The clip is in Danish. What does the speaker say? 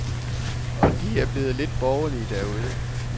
Og de er blevet lidt borgerlige derude.